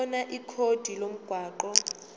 khona ikhodi lomgwaqo